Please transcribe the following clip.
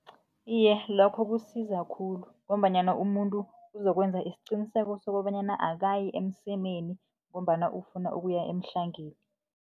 Iye, lokho kusiza khulu ngombanyana, umuntu uzokwenza isiqiniseko sokobanyana akayi emsemeni, ngombana ufuna ukuya emhlangeni.